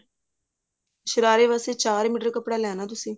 ਸ਼ਰਾਰੇ ਵਾਸਤੇ ਚਾਰ ਮੀਟਰ ਕੱਪੜਾ ਲੈਣਾ ਤੁਸੀਂ